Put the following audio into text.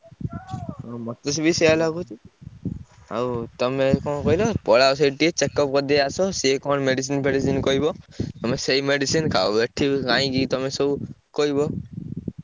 ହୁଁ ମତେ ବି ସେୟା ଲାଗୁଚି। ଆଉ ତମେ କଣ କହିଲ ପଳାଅ ସେଇଠି ଟିକେ checkup କରିଦେଇ ଆସ। ସିଏ କଣ medicine ଫେଡିଶିନ କହିବ ତମେ ସେଇ medicine ଖାଇବ ଏଠି କାହିଁକି ତମେ ସବୁ କହିବ।